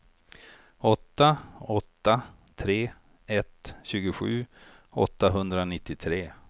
åtta åtta tre ett tjugosju åttahundranittiotre